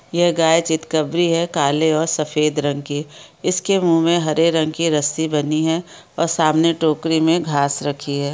यह गाय चितकबरी है काले और सफेद रंग की इसके मुँह में हरे रंग की रस्सी बंधी है और सामने टोकरी में घास रखी है।